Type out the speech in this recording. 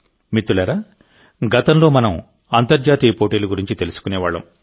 మిత్రులారాగతంలో మనం అంతర్జాతీయ పోటీల గురించి తెలుసుకునేవాళ్ళం